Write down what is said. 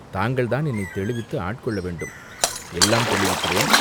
தாங்கள்தான் என்னைத் தெளிவித்து ஆட்கொள்ள வேண்டும்." "எல்லாம் தெளிவிக்கிறேன்.